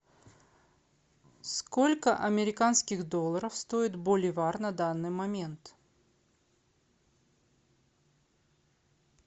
сколько американских долларов стоит боливар на данный момент